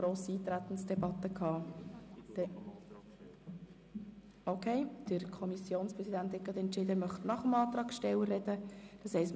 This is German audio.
Soeben hat der Kommissionspräsident der FiKo entschieden, nach dem Antragsteller zu sprechen.